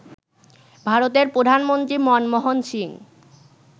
ভারতের প্রধানমন্ত্রী মনমোহন সিং